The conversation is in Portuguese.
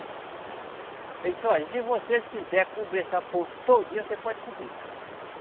Ele disse, olha, e se vocês quiser cobrir essa ponte todinha, você pode cobrir.